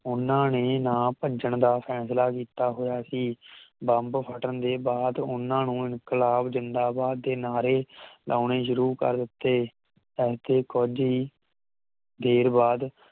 ਉਹਨਾਂ ਨੇ ਨਾ ਭੱਜਣ ਦਾ ਫੈਂਸਲਾ ਕੀਤਾ ਹੋਇਆ ਸੀ ਬੰਬ ਫੱਟਣ ਤੋਂ ਬਾਅਦ ਉਹਨਾਂ ਨੂੰ ਇਨਕਲਾਬ ਜਿੰਦਾਬਾਦ ਦੇ ਨਾਰੇ ਲਾਉਣੇ ਸ਼ੁਰੂ ਕਰ ਦਿੱਤੇ ਇਥੇ ਕੁਝ ਹੀ ਦੇਰ ਬਾਅਦ